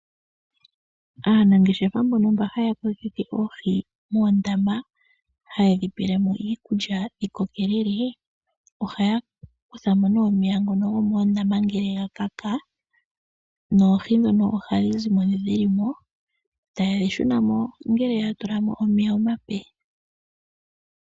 Aanangeshefa mbono mba haya kokeke moondama haye dhi pele mo iikulya dhi kokelele ohaya kutha mo nee omeya ngono gomoondama ngele ga kaka noohi ndhono ohadhi zimo ndhi dhili mo, taye dhi shuna mo ngele ya tula mo omeya omape.